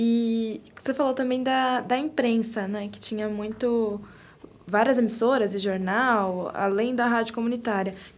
E você falou também da imprensa, não é, que tinha várias emissoras e jornal, além da rádio comunitária.